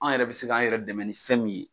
An yɛrɛ bi se k'an yɛrɛ dɛmɛ ni fɛn min ye